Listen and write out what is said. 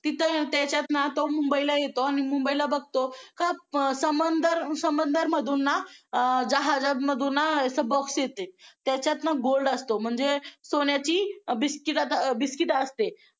तिथं त्याच्यात ना तो मुंबईला येतो आणि मुंबईला बघतो समंदर मधून ना अं जहाजामधून ना असे box ते त्याच्यात ना gold असतो म्हणजे सोन्याची बिस्किटं असते.